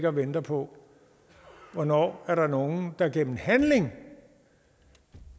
og venter på hvornår der er nogen der gennem handling